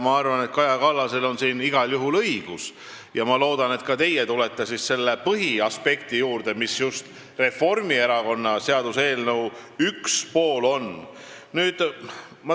Ma arvan, et Kaja Kallasel on siin igal juhul õigus, ja ma loodan, et ka teie tulete selle põhiaspekti juurde, mis just Reformierakonna seaduseelnõu üks pool on.